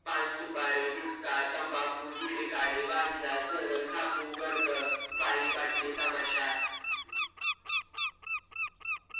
पान-सुपारी, गुटखा, तंबाखू, विडे गांजा, चरस, आपू, गर्द, बाई, बाटली, तमाशा